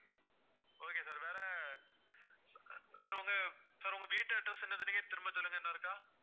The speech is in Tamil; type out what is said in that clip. okay sir வேற sir உங்க sir உங்க வீட்டு address என்ன சொன்னீங்க திரும்ப சொல்லுங்க இன்னொருக்கா.